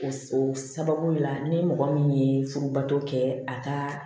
O sababu la ni mɔgɔ min ye furubato kɛ a ka